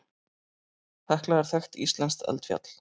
Hekla er þekkt íslenskt eldfjall.